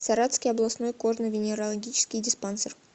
саратовский областной кожно венерологический диспансер